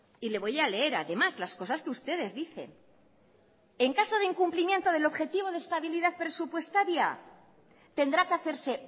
y le voy a leer además las cosas que ustedes dicen en caso de incumplimiento del objetivo de estabilidad presupuestaria tendrá que hacerse